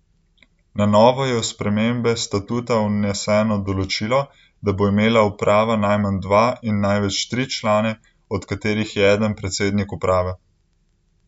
Na novo je v spremembe statuta vneseno določilo, da bo imela uprava najmanj dva in največ tri člane, od katerih je eden predsednik uprave.